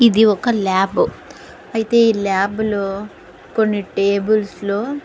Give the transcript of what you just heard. ఇది ఒక ల్యాబ్ . అయితే ఈ ల్యాబ్ లో కొన్ని టేబుల్స్లో --